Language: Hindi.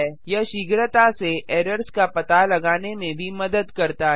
यह शीघ्रता से एरर्स का पता लगाने में भी मदद करता है